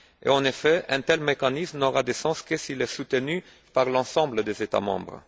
En effet, un tel mécanisme n'aura de sens que s'il est soutenu par l'ensemble des États membres.